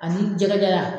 Ani jɛgɛ jara